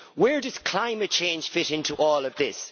Where does climate change fit into all of this?